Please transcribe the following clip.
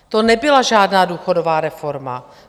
To nebyla žádná důchodová reforma.